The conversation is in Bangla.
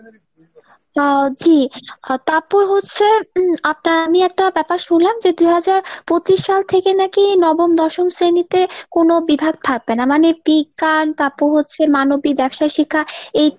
আহ জি তারপর হচ্ছে আপনার আমি একটা ব্যাপার শুনলাম যে দুইহাজার পঁচিশ সাল থেকে নাকি নবম দশম শ্রেণীতে কোনো বিভাগ থাকবেনা মানি বিজ্ঞান তারপর হচ্ছে মানবিক ব্যবসায় শিক্ষা এই।